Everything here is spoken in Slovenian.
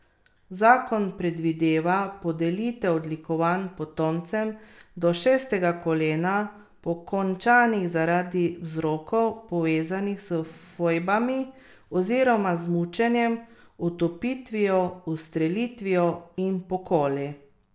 Zakon predvideva podelitev odlikovanj potomcem do šestega kolena, pokončanih zaradi vzrokov, povezanih s fojbami oziroma z mučenjem, utopitvijo, ustrelitvijo in pokoli.